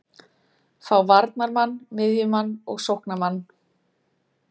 Fá varnarmann, miðjumann og sóknarmann.